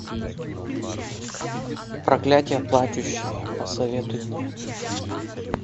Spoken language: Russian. проклятие плачущей посоветуй мне